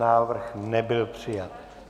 Návrh nebyl přijat.